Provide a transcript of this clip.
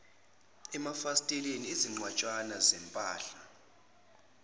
emafasiteleni izinqwatshana zempahla